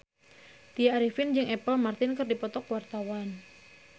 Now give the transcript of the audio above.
Tya Arifin jeung Apple Martin keur dipoto ku wartawan